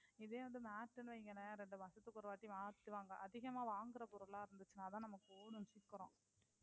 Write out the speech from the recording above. இதே வந்து mat னு வைங்களேன். இரண்டு மாசத்துக்கு ஒருவாட்டி மத்தவங்க அதிகமா வாங்கற பொருளை இருந்திச்சுன்னா தான் நமக்கு ஓடும் சீக்கிரம்.